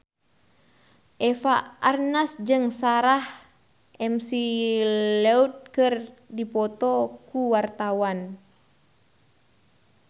Eva Arnaz jeung Sarah McLeod keur dipoto ku wartawan